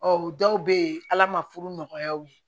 Ɔ dɔw bɛ yen ala ma furu nɔgɔya u ye